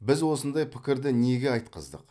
біз осындай пікірді неге айтқыздық